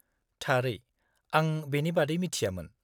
-थारै! आं बेनि बादै मिथियामोन।